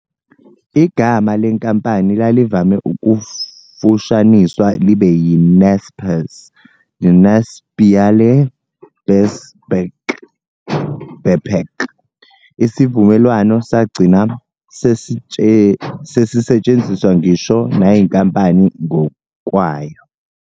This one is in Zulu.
Igama lenkampani lalivame ukufushaniswa libe yi-Naspers, "De Nas ionale Pers Beperk", isivumelwano sagcina "sesisetshenziswa ngisho nayinkampani ngokwayo."